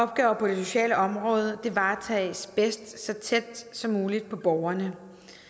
at opgaver på det sociale område varetages bedst så tæt som muligt på borgerne